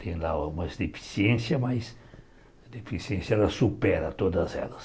Tem lá algumas deficiências, mas a deficiência ela supera todas elas.